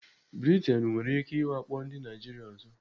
Britain nwere ike iwakpo ndị Naijiria ọzọ.